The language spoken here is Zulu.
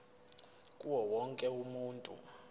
kuwo wonke umuntu